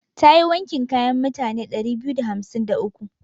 Ta yi wankin kayan mutane ɗari biyu da hamsin da uku.